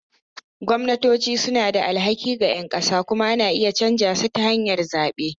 Gwamnatoci suna da alhaki ga ƴan ƙasa kuma ana iya canza su ta hanyar zaɓe.